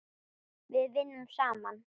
Við vinnum saman.